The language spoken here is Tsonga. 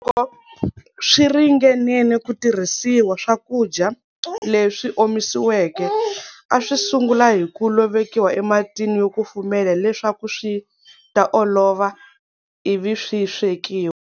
Loko swiringenene ku tirhisiwa, swakudya leswi omisiweke, aswi sungula hiku lovekiwa ematini yo kufumela leswaku swi ta olova, ivi swi swekiwa.